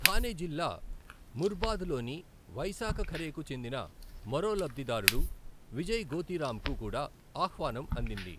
థానే జిల్లా ముర్బాద్ లోని వైశాఖఖరేకు చెందిన మరో లబ్ధిదారుడు విజయ్ గోతీరాంకు కూడా ఆహ్వానం అందింది.